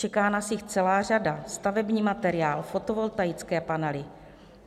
Čeká nás jich celá řada - stavební materiál, fotovoltaické panely.